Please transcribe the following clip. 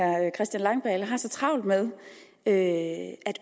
at herre christian langballe har så travlt med at